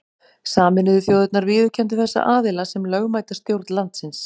Sameinuðu þjóðirnar viðurkenndu þessa aðila sem lögmæta stjórn landsins.